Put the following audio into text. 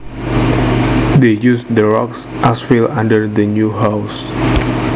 They used the rocks as fill under the new house